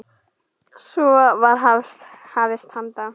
Svo var hafist handa.